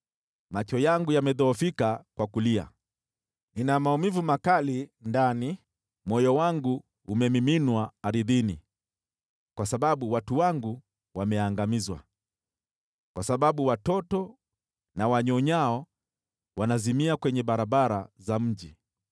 Macho yangu yamedhoofika kwa kulia, nina maumivu makali ndani, moyo wangu umemiminwa ardhini kwa sababu watu wangu wameangamizwa, kwa sababu watoto na wanyonyao wanazimia kwenye barabara za mji.